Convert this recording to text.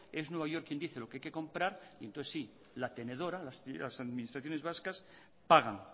es nueva york quien dice lo que hay que comprar entonces sí la tenedora las administraciones vascas pagan